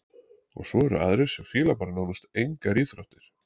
Og svo eru aðrir sem fíla bara nánast engar íþróttir.